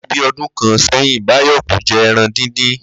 Láti bí o̩dún kan sé̩yìn, Báyò̩ kò je̩ e̩ran díndín